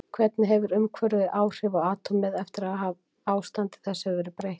Hvernig hefur umhverfið áhrif á atómið eftir að ástandi þess hefur verið breytt?